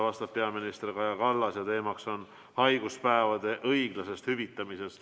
Vastab peaminister Kaja Kallas ja teema on haiguspäevade õiglane hüvitamine.